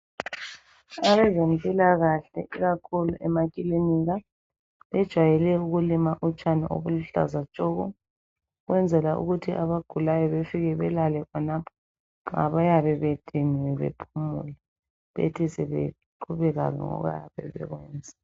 Abezempilakahle ikakhulu emaklinika bajayele ukulima utshani obuluhlaza tshoko ukwenzela ukuthi abagulayo befike belale khonapho labayabe bediniwe bephumule bethi sebeqhubeka ngokuyabe bekwenza